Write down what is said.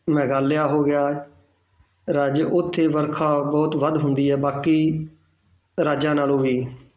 ਮੇਘਾਲਿਆ ਹੋ ਗਿਆ ਰਾਜ ਉੱਥੇ ਵਰਖਾ ਬਹੁਤ ਵੱਧ ਹੁੰਦੀ ਹੈ ਬਾਕੀ ਰਾਜਾਂ ਨਾਲੋਂ ਵੀ